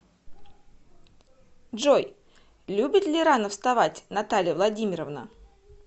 джой любит ли рано вставать наталья владимировна